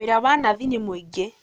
Wĩra wa nathi nĩ mũingĩ